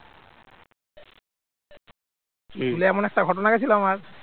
এমন একটা ঘটনা হয়েছিল আমার